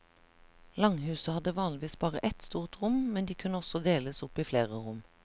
Langhuset hadde vanligvis bare ett stort rom, men de kunne også deles opp i flere rom.